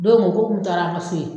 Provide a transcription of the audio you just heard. Don dɔ k'o kun taara an ka se yen